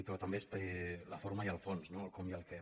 però també és la forma i el fons no el com i el què